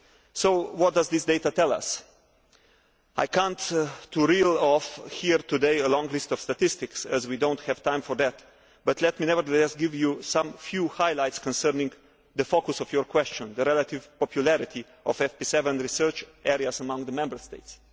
So what does this data tell us? I cannot reel off here today a long list of statistics, as we do not have time for that, but let me nevertheless give you some few highlights concerning the focus of your question the relative popularity of FP7 research areas among the Member States.